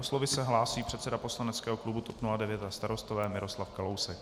O slovo se hlásí předseda poslaneckého klubu TOP 09 a Starostové Miroslav Kalousek.